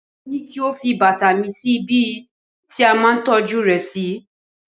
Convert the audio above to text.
mo ní kí o fi bàtà mı sí ibi tí a ma ń tọ́jú rẹ si